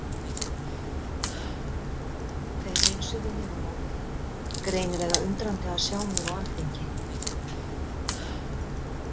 Þeir heilsuðu mér á móti, greinilega undrandi að sjá mig á alþingi.